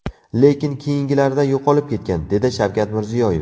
Lekin keyingilarida yo‘qolib ketgan”, dedi Shavkat Mirziyoyev.